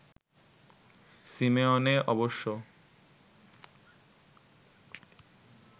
Simeone অবশ্য